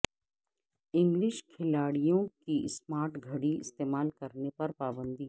English کھلاڑیوں کی smart گھڑی استعمال کرنے پر پابندی